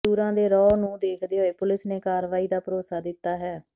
ਮਜ਼ਦੂਰਾਂ ਦੇ ਰੌਹ ਨੂੰ ਦੇਖਦੇ ਹੋਏ ਪੁਲੀਸ ਨੇ ਕਾਰਵਾਈ ਦਾ ਭਰੋਸਾ ਦਿੱਤਾ ਹੈ